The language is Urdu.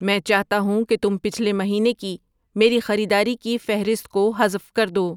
میں چاہتا ہوں کہ تم پچھلے مہینے کی میری خریداری کی فہرست کو حذف کر دو